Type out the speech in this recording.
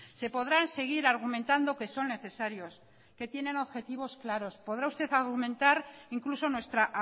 se podrán seguir argumentando que son necesarios que tienen objetivos claros podrá usted argumentar incluso nuestra